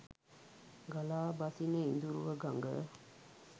ගලා බසින ඉඳුරුව ගඟ